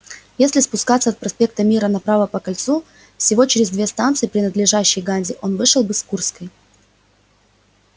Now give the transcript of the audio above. если спускаться от проспекта мира направо по кольцу всего через две станции принадлежащие ганзе он вышел бы к курской